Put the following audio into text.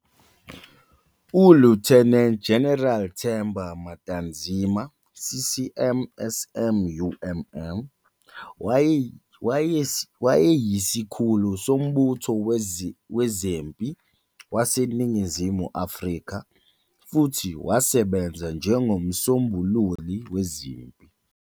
ULieutenant General Themba Matanzima CCM SM UMMM wayeyisikhulu sombutho wezempi waseNingizimu Afrika, futhi wasebenza njengoMsombululi Wezempi.